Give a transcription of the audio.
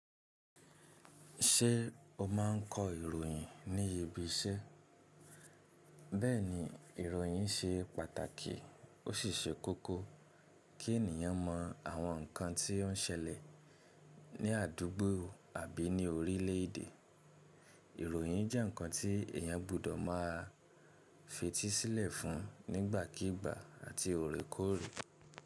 Ṣé o máa ń kọ ìròyìn ní ibi iṣẹ́? Bẹ́ẹ̀ni, ìròyìn ṣe pàtàkì ó sì ṣe kókó kí ènìyàn mọ àwọn nkan tí ó ń ṣẹlẹ̀ ní àdúgbò àbí ní orílẹ̀ èdè. Ìròyìn jẹ́ nkan tí èèyàn gbudọ̀ máa fetísílẹ̀ fún nígbàkígbà àti òrékòrè.